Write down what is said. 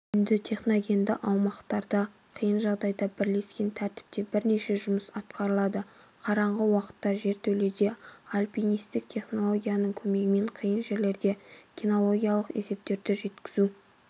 үйінді техногенді аумақтарда қиын жағдайда бірлескен тәртіпте бірнеше жұмыс атқарылады қараңғы уақытта жертөледе альпинисттік технологияның көмегімен қиын жерлерде кинологиялық есептерді жеткізу